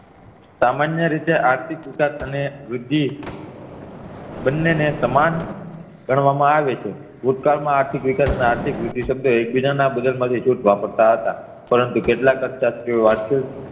સામાન્ય રીતે આર્થીક વિકાસ અને વૃદ્ધિ બંને ને સમાન ગણવા માં આવેછે ભુતકાળ માં આર્થિક વિકાસ અને આર્થિક વૃદ્ધિ શબ્દ એકબીજાના નીછુંટ વાપરતા હતા પરંતુ કેટલાક કરતા તેઓ